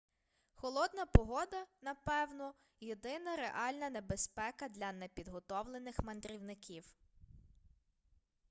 холодна погода напевно єдина реальна небезпека для непідготовлених мандрівників